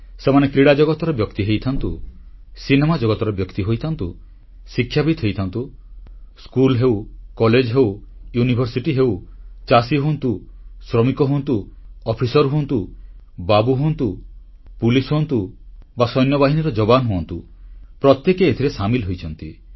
ସେମାନେ କ୍ରୀଡ଼ା ଜଗତର ବ୍ୟକ୍ତି ହୋଇଥାନ୍ତୁ ସିନେମା ଜଗତର ବ୍ୟକ୍ତି ହୋଇଥାନ୍ତୁ ଶିକ୍ଷାବିତ୍ ହୋଇଥାନ୍ତୁ ସ୍କୁଲ ହେଉ କଲେଜ ହେଉ ବିଶ୍ୱବିଦ୍ୟାଳୟ ହେଉ ଚାଷୀ ହୁଅନ୍ତୁ ଶ୍ରମିକ ହୁଅନ୍ତୁ ଅଫିସର ହୁଅନ୍ତୁ ବାବୁ ହୁଅନ୍ତୁ ପୁଲିସ ହୁଅନ୍ତୁ ବା ସୈନ୍ୟବାହିନୀର ଯବାନ ହୁଅନ୍ତୁ ପ୍ରତ୍ୟେକେ ଏଥିରେ ସାମିଲ ହୋଇଛନ୍ତି